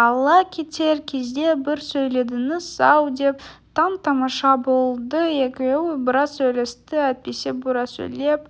алла кетер кезде бір сөйледіңіз-ау деп таң-тамаша болды екеуі біраз сөйлесті әйтпесе бұра сөйлеп